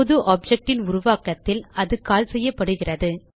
புது ஆப்ஜெக்ட் ன் உருவாக்கத்தில் அது கால் செய்யப்படுகிறது